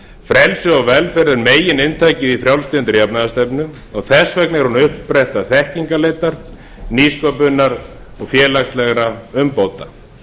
frelsi og velferð er megininntakið í frjálslyndri jafnaðarstefnu þess vegna er hún uppspretta þekkingarleitar nýsköpunar og félagslegra umbóta